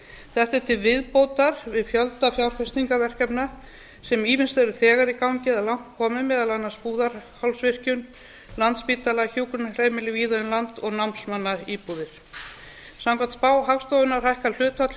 þetta er til viðbótar við fjölda fjárfestingarverkefna sem ýmist eru þegar í gangi eða langt komin meðal annars búðarhálsvirkjun landspítalinn hjúkrunarheimili víða um land og námsmannaíbúðir samkvæmt spá hagstofunnar hækkar hlutfall